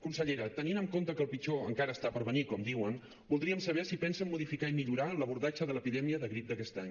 consellera tenint en compte que el pitjor encara està per venir com diuen voldríem saber si pensen modificar i millorar l’abordatge de l’epidèmia de grip d’aquest any